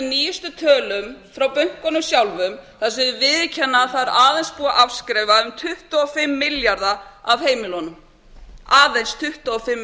nýjustu tölum frá bönkunum sjálfum að þeir viðurkenna að það er aðeins búið að afskrifa um tuttugu og fimm milljarða af heimilunum aðeins tuttugu og fimm